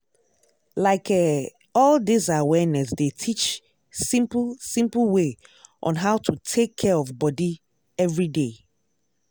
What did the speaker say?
like eh all dis awareness dey teach simple simple way on how to take care of body everyday.